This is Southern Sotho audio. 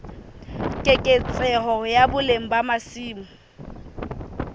keketseho ya boleng ba masimo